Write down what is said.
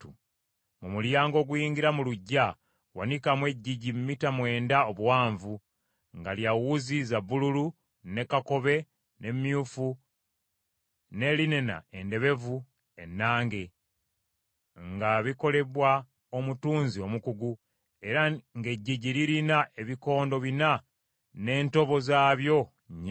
“Mu mulyango oguyingira mu luggya wanikamu eggigi mita mwenda obuwanvu, nga lya wuzi za bbululu, ne kakobe, ne myufu, ne linena endebevu ennange, nga bikolebwa omutunzi omukugu, era ng’eggigi lirina ebikondo bina n’entobo zaabyo nnya.